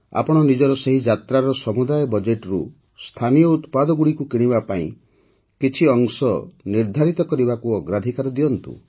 ଆପଣ ନିଜର ସେହି ଯାତ୍ରାର ସମୁଦାୟ ବଜେଟ୍ରୁ ସ୍ଥାନୀୟ ଉତ୍ପାଦଗୁଡ଼ିକୁ କିଣିବା ପାଇଁ କିଛି ଅଂଶ ନିର୍ଦ୍ଧାରିତ କରିବାକୁ ଅଗ୍ରାଧିକାର ଦିଅନ୍ତୁ